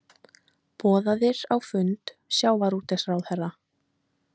Boðaðir á fund sjávarútvegsráðherra